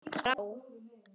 Henni brá.